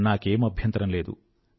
నాకే అభ్యంతరమూ లేదు